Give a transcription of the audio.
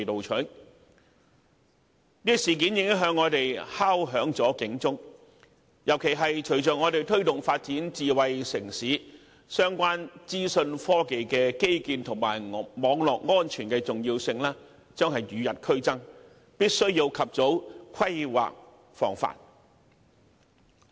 此事件已向我們敲響了警鐘，尤其隨着我們推動發展智慧城市，相關資訊科技基建及網絡安全的重要性將與日俱增，必須及早規劃防範。